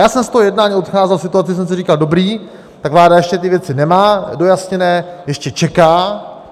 Já jsem z toho jednání odcházel v situaci, kdy jsem si říkal: Dobrý, tak vláda ještě ty věci nemá dojasněné, ještě čeká.